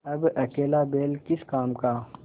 अब अकेला बैल किस काम का